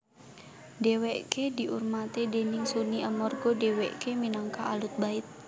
Dhèwèké diurmati déning Sunni amarga dhèwèké minangka Ahlul Bait